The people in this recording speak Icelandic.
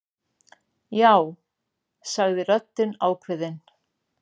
Já, sagði röddin ákveðin.